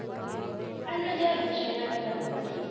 ಅದ್ರದ್ ಯಾವ್ದು ವಿಷಯ ನಾಟಕದ್ದು?